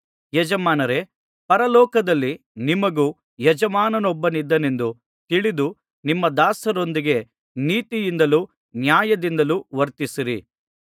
ಯಜಮಾನರೇ ಪರಲೋಕದಲ್ಲಿ ನಿಮಗೂ ಯಜಮಾನನೊಬ್ಬನಿದ್ದಾನೆಂದು ತಿಳಿದು ನಿಮ್ಮ ದಾಸರೊಂದಿಗೆ ನೀತಿಯಿಂದಲೂ ನ್ಯಾಯದಿಂದಲೂ ವರ್ತಿಸಿರಿ